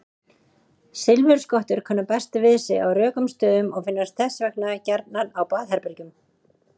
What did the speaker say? Silfurskottur kunna best við sig á rökum stöðum og finnast þess vegna gjarnan á baðherbergjum.